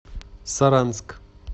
саранск